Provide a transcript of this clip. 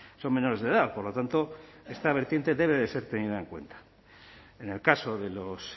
son menores de edad por lo tanto esta vertiente debe ser tenida en cuenta en el caso de los